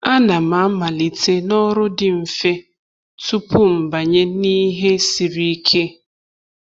A na'm amalite na ọrụ dị mfe tupu m banye n’ihe siri ike.